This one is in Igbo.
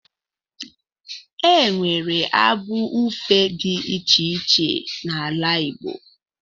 E nwere abụ ifo dị iche iche n'ala Igbo